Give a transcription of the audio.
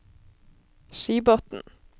Skibotn